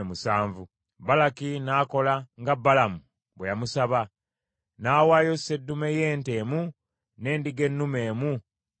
Balaki n’akola nga Balamu bwe yamusaba, n’awaayo sseddume y’ente emu n’endiga ennume emu ku buli kyoto.